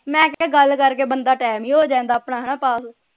ਮੈਂ ਕਿਹਾ ਗੱਲ ਕਰਕੇ ਬੰਦਾ ਟੈਮ ਹੀ ਹੋ ਜਾਂਦਾ ਆਪਣਾ ਹਣਾ ਪਾਸ